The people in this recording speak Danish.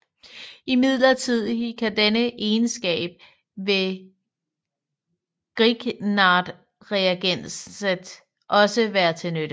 Imidlertid kan denne egenskab ved grignardreagenset også være til nytte